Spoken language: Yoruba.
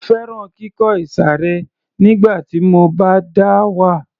Mo fẹ́ràn kíkọ ìsàré nígbà tí mo bá dá wà